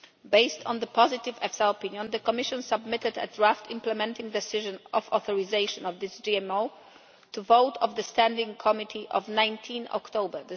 Based on the positive EFSA opinion, the Commission submitted a draft implementing decision for the authorisation of this GMO to a vote of the standing committee on 19 October